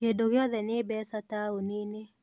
Kĩndũ gĩothe nĩ becaa taũninĩ.